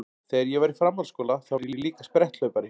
Þegar ég var í framhaldsskóla þá var ég líka spretthlaupari.